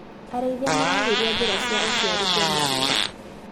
Arĩithia maragĩria njĩra cia ũciari cia mahiũ.